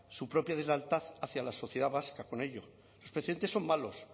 su propia deslealtad hacia la sociedad vasca con ello los precedentes son malos